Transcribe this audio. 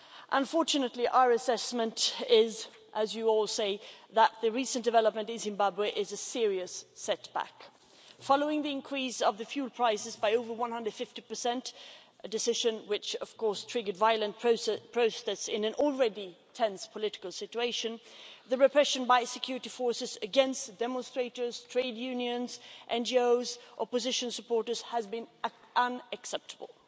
Unfortunately our assessment is, as you all say, that the recent development in Zimbabwe is a serious setback. Following the increase in fuel prices by over 150, a decision which of course triggered violent protests in an already tense political environment, the repression by security forces against demonstrators, trade unions, NGOs, opposition supporters, has been unacceptable.